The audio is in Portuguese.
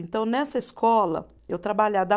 Então, nessa escola, eu trabalhada